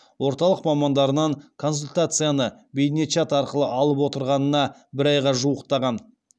орталық мамандарынан консультацияны бейне чат арқылы алып отырғанына бір айға жуықтаған